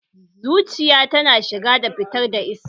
Zuciya tana shiga da fitar da iska